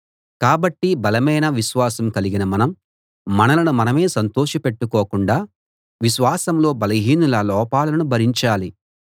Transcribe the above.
కాబట్టి బలమైన విశ్వాసం కలిగిన మనం మనలను మనమే సంతోషపెట్టుకోకుండా విశ్వాసంలో బలహీనుల లోపాలను భరించాలి